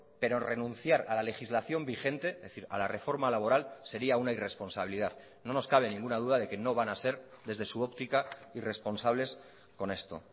pero renunciar a la legislación vigente es decir a la reforma laboral sería una irresponsabilidad no nos cabe ninguna duda de que no van a ser desde su óptica irresponsables con esto